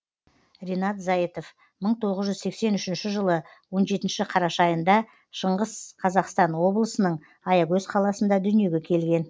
ринат зайытов мың тоғыз жүз сексен үшінші жылы он жетіші қараша айында шығыс қазақстан облысының аягөз қаласында дүниеге келген